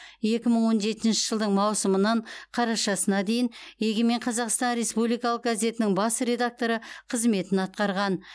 екі мың он жетінші жылдың маусымынан қарашасына дейін егемен қазақстан республикалық газетінің бас редакторы қызметін атқарған